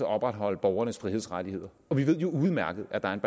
opretholde borgernes frihedsrettigheder vi ved jo udmærket at der er en